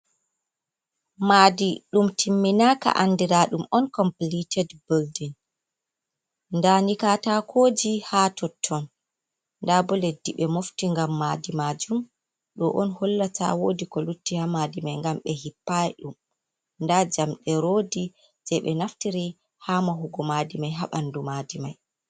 Maaɗi ɗum timminaka anɗira ɗum on kompiliteɗ bilɗin. Nɗa ni katakoji ha totton. Nɗa bo leɗdi be mofti ngam maɗi majum. Ɗo on hollata woɗi ko lutti ha maɗi mai, ngam be hippai ɗum. Nɗa jamɗe roɗi je be naftiri ha mahugo maɗi mai ha banɗu maɗi mai.